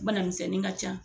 Banamisɛnnin ka can.